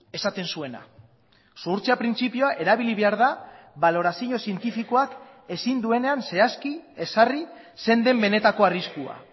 esaten zuena zuhurtzia printzipioa erabili behar da balorazio zientifikoak ezin duenean zehazki ezarri zein den benetako arriskua